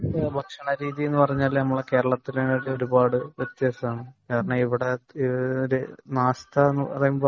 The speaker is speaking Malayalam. ഭക്ഷണ രീതി എന്ന് പറഞ്ഞാൽ നമ്മളെ കേരളത്തിനേക്കാൾ ഒരുപാട് വ്യത്യാസമുണ്ട് . ഇവിടെ നാസ്ത എന്ന് പറയുമ്പം